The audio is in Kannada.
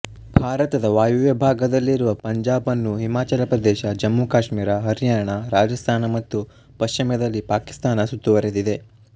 ಭಾರತದ ವಾಯುವ್ಯ ಭಾಗದಲ್ಲಿರುವ ಪಂಜಾಬ್ ಅನ್ನು ಹಿಮಾಚಲ ಪ್ರದೇಶ ಜಮ್ಮುಕಾಶ್ಮೀರ ಹರ್ಯಾಣ ರಾಜಸ್ಥಾನ ಮತ್ತು ಪಶ್ಚಿಮದಲ್ಲಿ ಪಾಕಿಸ್ತಾನ ಸುತ್ತುವರಿದಿದೆ